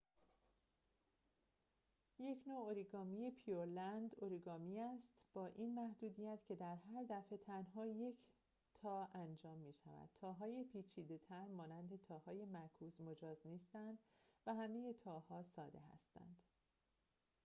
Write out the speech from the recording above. اوریگامی pureland یک نوع اوریگامی است با این محدودیت که در هر دفعه تنها یک تا انجام می‌شود تاهای پیچیده تر مانند تاهای معکوس مجاز نیستند و همه تاها ساده هستند